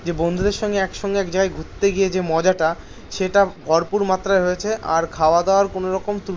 গিয়ে বন্ধুদের সঙ্গে একসঙ্গে এক জায়গায় ঘুরতে গিয়ে যে মজাট সেটা ভরপুর মাত্রায় হয়েছে আর খাওয়ার দাওয়ার কপ্নোরুম তুলবি না